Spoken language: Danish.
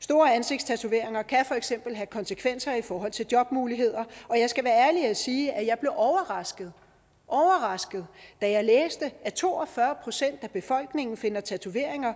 store ansigtstatoveringer kan for eksempel have konsekvenser i forhold til jobmuligheder og jeg skal være ærlig at sige at jeg blev overrasket da jeg læste at to og fyrre procent af befolkningen finder tatoveringer